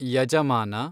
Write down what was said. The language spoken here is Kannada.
ಯಜಮಾನ